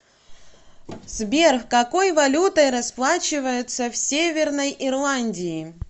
сбер какой валютой расплачиваются в северной ирландии